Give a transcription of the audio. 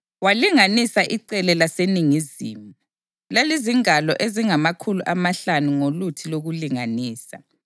Walinganisa icele laseningizimu; lalizingalo ezingamakhulu amahlanu ngoluthi lokulinganisa.